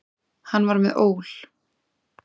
Hann var með ól.